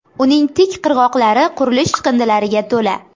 Uning tik qirg‘oqlari qurilish chiqindilariga to‘la.